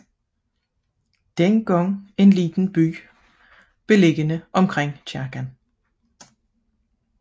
Dengang en lille by beliggende omkring kirken